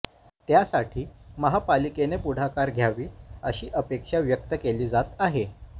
त्यासाठी महापालिकेने पुढाकर घ्यावी अशी अपेक्षा व्यक्त केली जात आहे